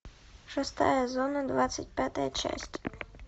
шестая зона двадцать пятая часть